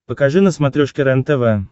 покажи на смотрешке рентв